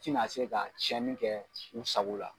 Tina a se ka tiɲɛni kɛ u sago la